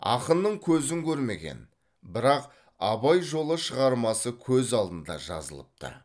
ақынның көзін көрмеген бірақ абай жолы шығармасы көз алдында жазылыпты